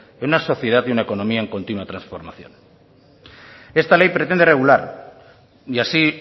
en una sociedad y una economía en continua transformación esta ley pretende regular y así